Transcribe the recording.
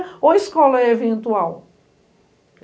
Ou escola é eventual?